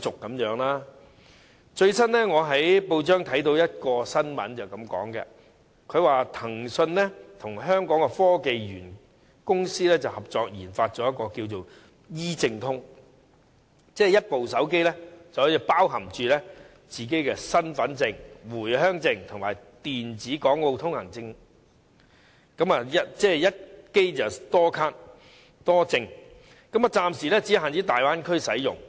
我最近在報章讀到一則新聞，指騰訊與香港科技園公司合作研發 "E 證通"，以一部手機包含身份證、回鄉證及電子往來港澳通行證，即一機多卡多證，暫時只限大灣區使用。